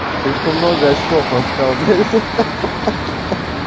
слишком много очков ласкал блядь ха ха